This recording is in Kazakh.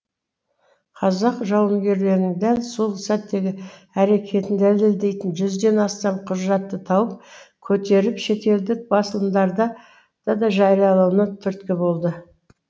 қазақ жауынгерлерінің дәл сол сәттегі әрекетін дәлелдейтін жүзден астам құжатты тауып көтеріп шетелдік басылымдарда да жариялануына түрткі болды